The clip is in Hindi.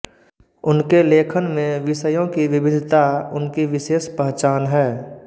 उनके लेखन में विषयों की विविधता उनकी विशेष पहचान है